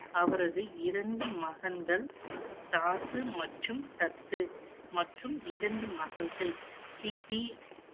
அவரது இரண்டு மகன்கள், தாசு மற்றும் தத்து. மற்றும், இரண்டு மகள்கள் பிபி